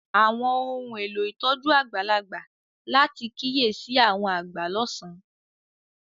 Àwọn ohun elo ìtójú àgbàlagbà láti kiyesi àwọn agba lọsan.